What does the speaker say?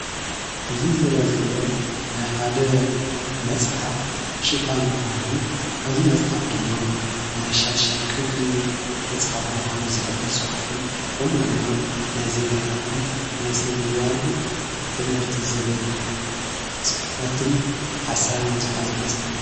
እዙ ዝረአ ዘሎ ናይ ሓደ መጽሓፍ ሽፋን ኾይኑ ኣብዚ መጽሓፍ ድማ ናይ ሻድሻይ ክፍሊ መጽሓፍ ምዃኑ ዝሕብር ጽሑፍን ከምኡ ድማ ናይ ዜጋታትን ናይ ስነምግባርን ትምህርቲ ዝብል ጽሕፈትን ሓሳብን ዝኃዘ መጽሓፍ እዩ።